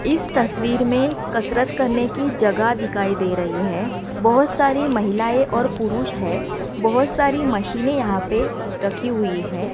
इस तस्वीर में कसरत करने की जगह दिखाई दे रही है बहुत सारी महिलाएं और पुरुष है बहुत सारी मशीनें यहां पे रखी हुई है।